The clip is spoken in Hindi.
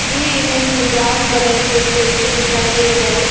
ये इमेज में ब्राउन कलर का स्टेचू दिखाई दे रहा है।